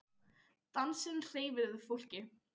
Dansinn hreyfir við fólki.